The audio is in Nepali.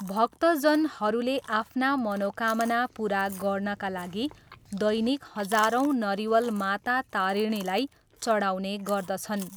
भक्तजनहरूले आफ्ना मनोकामना पुरा गर्नाका लागि दैनिक हजारौँ नरिवल माता तारिणीलाई चढाउने गर्दछन्।